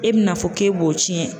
E bɛna fɔ k'e b'o tiɲɛn.